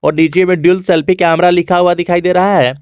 नीचे में dual selfie camera लिखा हुआ दिखाई दे रहा है।